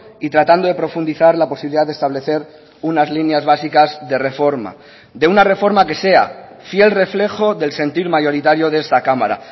y tratando de profundizar la posibilidad de establecer unas líneas básicas de reforma de una reforma que sea fiel reflejo del sentir mayoritario de esta cámara